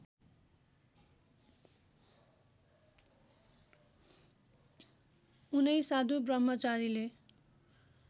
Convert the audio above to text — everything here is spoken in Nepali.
उनै साधु ब्रह्मचारीले